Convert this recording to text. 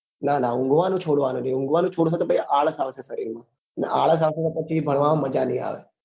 નાં નાં ઉન્ગવા નું છોડવા નું નહિ ઉન્ગવા નું છોડસો તો તો પછી આળસ આવશે સરીર માં અને આળસ આવશે તો ભણવા માં મજા નહિ આવે